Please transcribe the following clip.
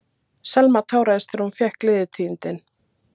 Selma táraðist þegar hún fékk gleðitíðindin.